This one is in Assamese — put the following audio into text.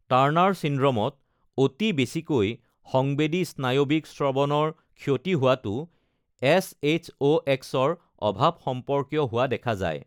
টাৰ্ণাৰ ছিণ্ড্ৰ'মত অতি বেছিকৈ সংবেদী-স্নায়ৱিক শ্ৰৱণৰ ক্ষতি হোৱাটো এচ.এইচ.অ'.এক্সৰ অভাৱ সম্পৰ্কীয় হোৱা দেখা যায়।